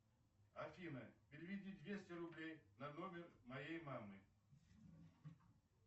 афина переведи двести рублей на номер моей мамы